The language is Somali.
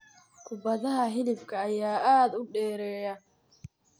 Kubadaha Hilibka ayaa aad u dheereeya.